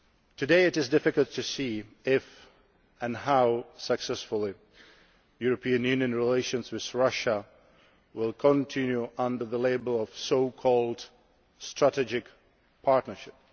Today it is difficult to see if and how successfully European Union relations with Russia can continue under the label of the so called strategic partnership.